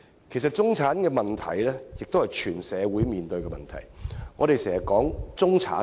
其實，中產的問題正是全社會面對的問題。